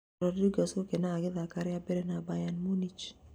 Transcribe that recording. Rodriguez gũkenga agĩthaka rĩambere na Bayern Munich